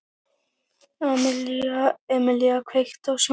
Emelía, kveiktu á sjónvarpinu.